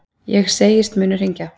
Ég segist munu hringja.